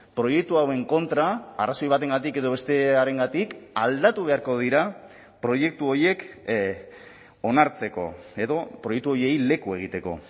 proiektu hauen kontra arrazoi batengatik edo bestearengatik aldatu beharko dira proiektu horiek onartzeko edo proiektu horiei leku egiteko